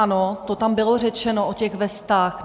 Ano, to tam bylo řečeno o těch vestách.